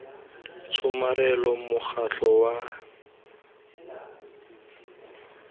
tshomarelo mokgatlho wa lenaga wa